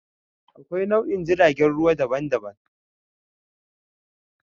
Akwai nau'ikan jiragen ruwa daban-daban.